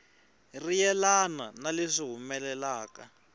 ri yelana na leswi humelelaka